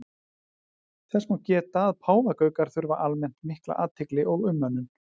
Þess má geta að páfagaukar þurfa almennt mikla athygli og umönnun.